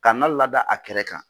Kana lada a kɛrɛ kan.